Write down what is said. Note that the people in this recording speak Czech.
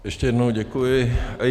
Ještě jednou děkuji.